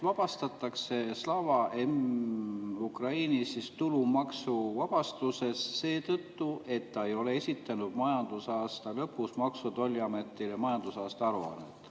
Slava Ukraini vabastatakse tulumaksuvabastusest seetõttu, et ta ei ole esitanud majandusaasta lõpus Maksu- ja Tolliametile majandusaasta aruannet.